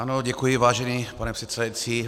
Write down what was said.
Ano, děkuji vážený pane předsedající.